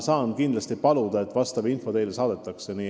Saan aga kindlasti paluda, et see info teile saadetakse.